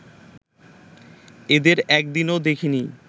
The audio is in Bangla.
এদের একদিনও দেখিনি